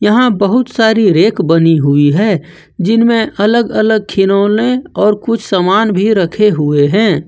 यहां बहुत सारी रैक बनी हुई है जिनमें अलग अलग खिलौने और कुछ सामान भी रखे हुए हैं।